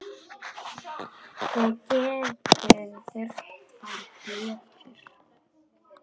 Þið gætuð þurft tvær plötur.